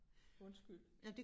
Undskyld